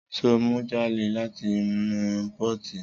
Sọ mú jàlẹ làtínú pọti?